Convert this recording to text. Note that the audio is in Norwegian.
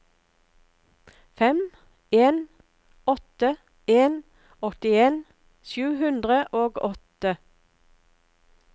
fem en åtte en åttien sju hundre og åtte